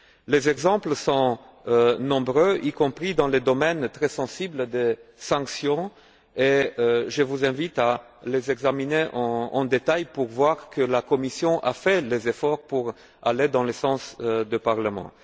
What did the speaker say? Les exemples sont nombreux, y compris dans le domaine très sensible des sanctions, et je vous invite à les examiner en détail vous verrez que la Commission a fait des efforts pour aller dans le sens du Parlement.